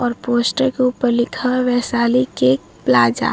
और पोस्टर के ऊपर लिखा हुआ है वैशाली केक प्लाजा ।